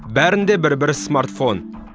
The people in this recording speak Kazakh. бәрінде бір бір смартфон